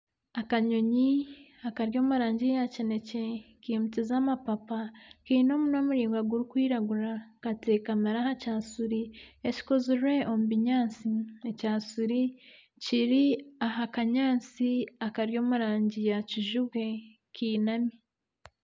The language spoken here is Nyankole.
Akanyonyi kari omu rangi ya kinekye kimukize amapapa, keine omunwa muraingwa gurikwiragura katekamire aha kyashuri ekikozirwe omu binyaatsi, ekyashuri kiri aha kanyatsi akari omu rangi ya kijubwe kinami.